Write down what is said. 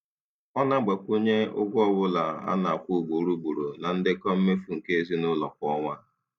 Ọ na-agbakwunye ụgwọ ọbụla a na-akwụ ugboro ugboro na ndekọ mmefu nke ezinụụlọ kwa ọnwa.